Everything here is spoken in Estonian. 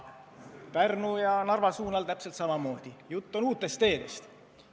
Pärnu ja Narva suunal täpselt samamoodi – jutt on uutest teedest.